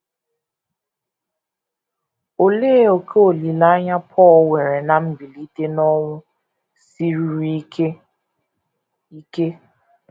Olee ókè olileanya Pọl nwere ná mbilite n’ọnwụ siruru ike? ike?